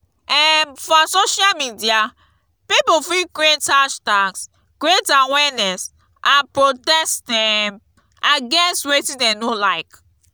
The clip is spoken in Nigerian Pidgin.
um for social media pipo fit create hashtags create awareness and protest um against wetin dem no like